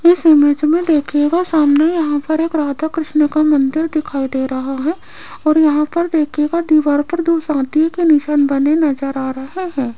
इस इमेज में देखिएगा सामने यहां पर एक राधा कृष्ण का मंदिर दिखाई दे रहा है और यहां पर देखिएगा दीवार पर दो के निशान बने नजर आ रहा हैं।